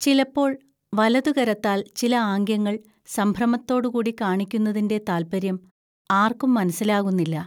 ചിലപ്പോൾ വലതുകരത്താൽ ചില ആംഗ്യങ്ങൾ സംഭ്രമത്തോടുകൂടി കാണിക്കുന്നതിന്റെ താത്പര്യം ആർക്കും മനസ്സിലാകുന്നില്ല